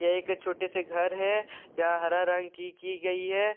यह एक छोटे से घर हैं यहां हरा रंग की की गई है।